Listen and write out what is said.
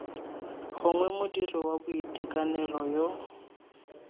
gongwe modiri wa boitekanelo yo